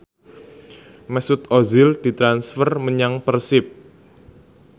Mesut Ozil ditransfer menyang Persib